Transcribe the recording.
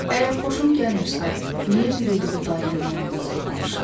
Əgər xoşum gəlmirsə, niyə bir ildir bu dayənin yanında saxlamışam?